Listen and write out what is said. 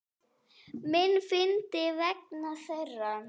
Minna fyndinn vegna þeirra.